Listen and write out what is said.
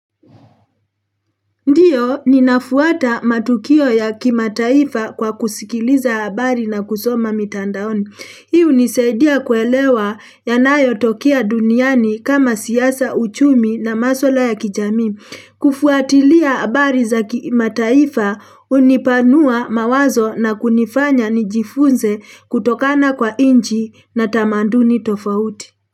Ndiyo, ninafuata matukio ya kimataifa kwa kusikiliza habari na kusoma mitandaoni. Hi unisaidia kuelewa yanayotokea duniani kama siasa uchumi na maswala ya kijamii. Kufuatilia habari za kimataifa unipanua mawazo na kunifanya nijifunze kutokana kwa inchi na tamanduni tofauti.